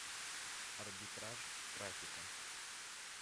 арбитраж трафика